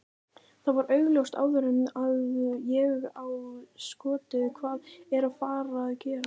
Það var augljóst áður en að ég á skotið hvað er að fara að gerast.